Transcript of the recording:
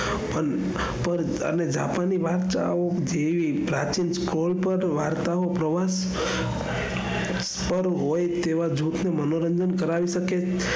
પણ જાપાન ની વાત ઓ જેવી પ્રાચીન વાર્તાઓ જેવી હોય તેવા લોકો મનોરંજન કરાવી શકે છે.